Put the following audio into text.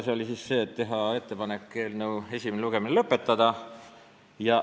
See oli ettepanek eelnõu esimene lugemine lõpetada.